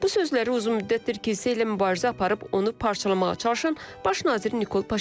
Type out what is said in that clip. Bu sözləri uzun müddətdir kilsə ilə mübarizə aparıb onu parçalamağa çalışan baş nazir Nikol Paşinyan deyib.